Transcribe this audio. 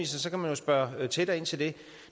så kan man spørge tættere ind til det